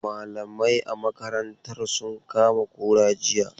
Malamai a makarantasun kama kura jiya.